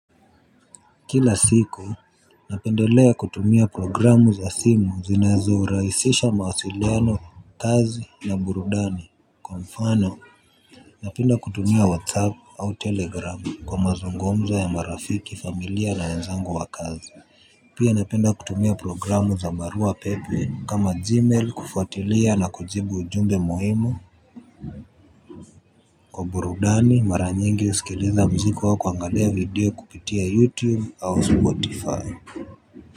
Kila siku napendelea kutumia programu za simu zinazo rahisisha mawasiliano kazi na burudani kwa mfano napenda kutumia whatsapp au telegram kwa mazungumzo ya marafiki familia na wenzangu wa kazi pia napenda kutumia programu za barua pepe kama gmail kufuatilia na kujibu ujumbe muhimu kwa burudani mara nyingi husikiliza mziki wa kuangalia video kupitia youtube au spotify.